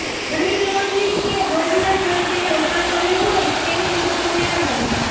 money laundering કે ગોલ્ડના સ્વરૃપે રોકાણ કર્યું હોઈ તેની વિગતો મેળવવાની